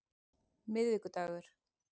miðvikudagur